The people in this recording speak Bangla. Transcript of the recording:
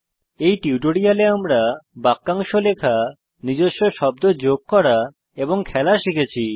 এই টিউটোরিয়ালে আমরা বাক্যাংশ লেখা নিজস্ব শব্দ যোগ করা এবং খেলা শিখেছি